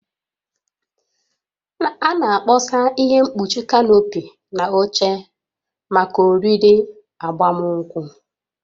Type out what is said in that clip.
A na-akpọsa ihe mkpuchi kanopi na oche maka oriri agbamunkwụ